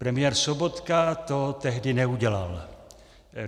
Premiér Sobotka to tehdy neudělal.